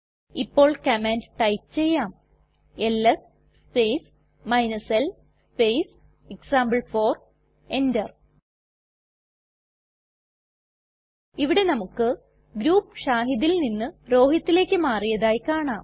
ഇപ്പോൾ command type ചെയ്യാം LS space l space example four enter ഇവിടെ നമുക്ക് ഗ്രൂപ്പ് shahidൽ നിന്ന് rohitലേക്ക് മാറിയതായി കാണാം